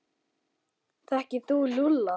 Þekkir þú Lúlla?